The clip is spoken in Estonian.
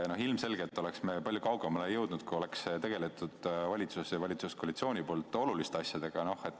Ilmselgelt oleks me palju kaugemale jõudnud, kui valitsus ja valitsuskoalitsioon oleks tegelenud oluliste asjadega.